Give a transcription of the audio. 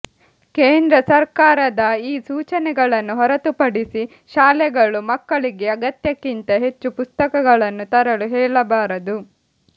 ಕೇಂದ್ರ ಸರ್ಕಾರದ ಈ ಸೂಚನೆಗಳನ್ನು ಹೊರತುಪಡಿಸಿ ಶಾಲೆಗಳು ಮಕ್ಕಳಿಗೆ ಅಗತ್ಯಕ್ಕಿಂತ ಹೆಚ್ಚು ಪುಸ್ತಕಗಳನ್ನು ತರಲು ಹೇಳಬಾರದು